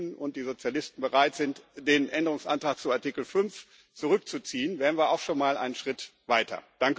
Wenn die Grünen und die Sozialisten bereit sind, den Änderungsantrag zu Artikel 5 zurückzuziehen, wären wir auch schon mal einen Schritt weiter.